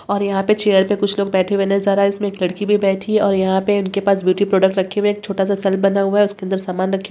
और यहाँ पे चेयर पे कुछ लोग बैठे हुए नजर आ रहें हैं इसमें एक लड़की भी बैठी है और यहाँ पे उनके पास ब्यूटी प्रोडक्ट्स रखे हुए हैं एक छोटा सा बना हुआ है उसके अंदर समान रखे --